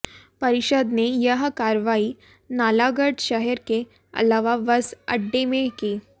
परिषद ने यह कार्रवाई नालागढ़ शहर के अलावा बस अड्डे में की